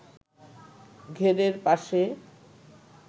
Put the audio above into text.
ঘেরের পাশে